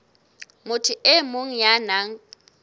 motho e mong ya nang